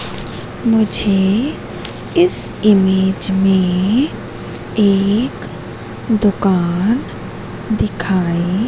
मुझे इस इमेज में एक दुकान दिखाई--